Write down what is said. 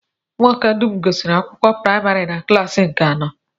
Ụmụaka m dum gụsiri akwụkwọ praịmarị na klaasị nke anọ